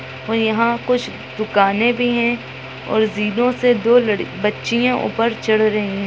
--और यहाँ कुछ दुकाने भी है और जीनो से दो लड़-बच्चियाँ ऊपर चढ़ रही है।